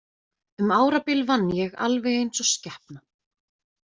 Um árabil vann ég alveg eins og skepna.